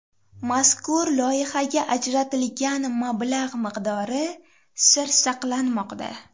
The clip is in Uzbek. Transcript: Mazkur loyihaga ajratilgan mablag‘ miqdori sir saqlanmoqda.